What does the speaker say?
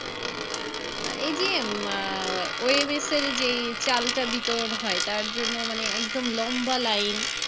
এই যে আহ যে চালটা বিতরন হয় তার জন্য মানে একদম লম্বা লাইন